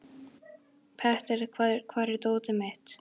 Petter, hvar er dótið mitt?